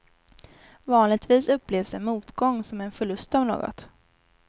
Vanligtvis upplevs en motgång som en förlust av något.